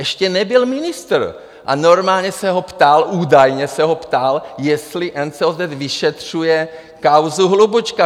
Ještě nebyl ministr a normálně se ho ptal, údajně se ho ptal, jestli NCOZ vyšetřuje kauzu Hlubučka.